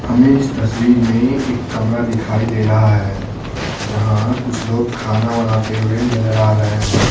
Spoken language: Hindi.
हमें इस तस्वीर में एक कमरा दिखाई दे रहा है जहां कुछ लोग खाना बनाते हुए नजर आ रहे हैं।